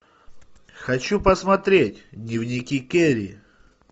хочу посмотреть дневники кэрри